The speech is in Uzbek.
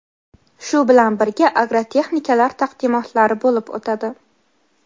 shu bilan birga "Agro texnikalar" taqdimotlari bo‘lib o‘tadi.